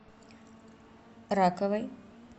раковой